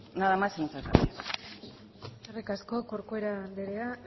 nada más y muchas gracias eskerrik asko corcuera anderea